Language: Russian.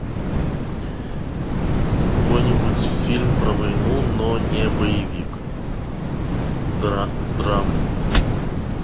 какой нибудь фильм про войну но не боевик драму